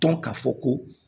Dɔn k'a fɔ ko